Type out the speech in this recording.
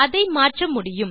அதை மாற்ற முடியும்